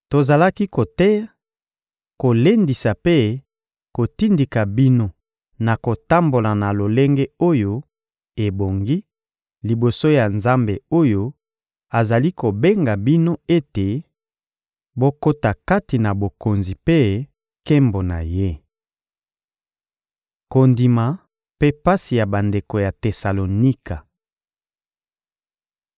tozalaki koteya, kolendisa mpe kotindika bino na kotambola na lolenge oyo ebongi liboso ya Nzambe oyo azali kobenga bino ete bokota kati na Bokonzi mpe nkembo na Ye. Kondima mpe pasi ya bandeko ya Tesalonika